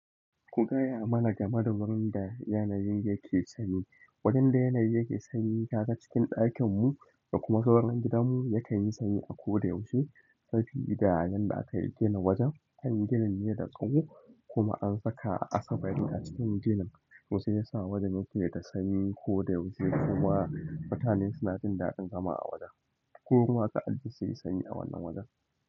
Ku gaya mana game da wurin da yanayin yake sanyi. Wajen da yanayi yake sanyi kaga cikin ɗakin mu da kuma zauran gidan mu yake yin sanyi a ko da yaushe. Safi gidajen da aka yi tela wajen, han ginin ne da tsawo kuma an saka asabari a cikin ginin. To shiyasa wajan yake da sanyi a koda yaushe kuma mutane suna jin daɗin zama a wajan ko kuma ka anji sayi sanyi a wannan wajen?